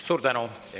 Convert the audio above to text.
Suur tänu!